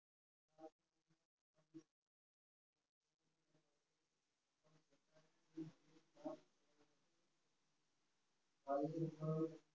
થયું